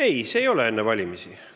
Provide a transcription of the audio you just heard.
Ei, see ei ole see, et "enne valimisi".